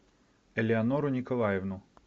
элеонору николаевну